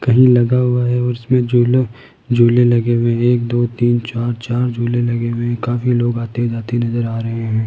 कहीं लगा हुआ है और इसमें झूला झूले लगे हुए हैं एक दो तीन चार चार झूले लगे हुए हैं काफी लोग आते जाते नजर आ रहे हैं।